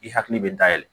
I hakili bɛ da yɛlɛ